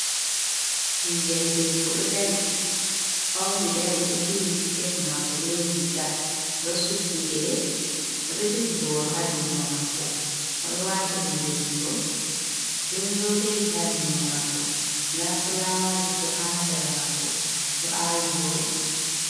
Ɓingel debbo ɗo dari fauni dari. Ɗo duhi siket mako, be riiga, o ɗo suddi gele, o ɗo jogi boro ha jungo mako. O ɗo wati hunde jungo, be zobeji ha jungo mako. Nda fulawaji bo ha sera mako, ɗo awi vooɗi.